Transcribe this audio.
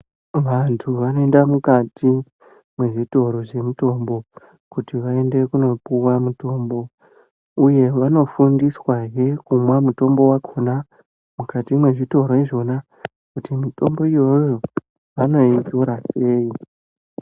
Vantu vanoenda mukati mezvitoro zvemitombo kuti vaende kundopuwa mutombo uye vanoFundiswa he kumwa mutombo mukati mezvitoro umu kuti mitombo iyona vanotora sei.